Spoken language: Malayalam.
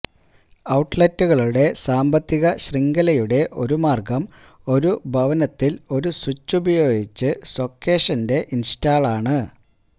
ഔട്ട്ലെറ്റുകളുടെ സാമ്പത്തിക ശൃംഖലയുടെ ഒരു മാർഗ്ഗം ഒരു ഭവനത്തിൽ ഒരു സ്വിച്ച് ഉപയോഗിച്ച് സോക്കേഷന്റെ ഇൻസ്റ്റാളാണ്